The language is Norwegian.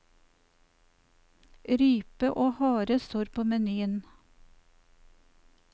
Rype og hare står på menyen.